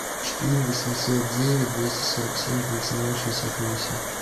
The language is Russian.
четыре восемьсот девять двести сорок семь тридцать два шестьдесят восемь